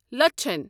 لچھَن